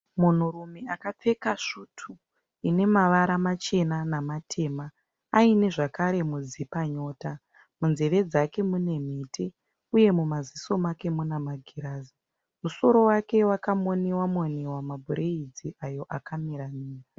Munhurume akapfeka svutu inemavara machena nematema ainezvakare mudzipanyota. Munzeve dzake mune mhete uye mumaziso make munemagirazi. Musoro wake wakamoniwa moniwa mabhuraidzi ayo akamira mira.